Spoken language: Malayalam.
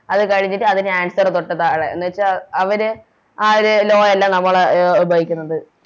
അത് കളിച്ചിട്ട് അതിന് Answer തൊട്ട് താഴെ എന്ന് വെച്ച അവർ ആ ഒരു Law അല്ല നമ്മളെ അഹ് ഉപയോഗിക്കുന്നത്